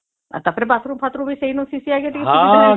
ଆଉ ଟା ପରେ ବାଥରୁମ ବି ସେଇ ନୁ ଅଛି ସବୁ ସୁବିଧା